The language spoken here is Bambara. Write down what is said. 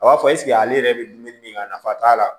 A b'a fɔ ale yɛrɛ bɛ dumuni min kɛ nafa t'a la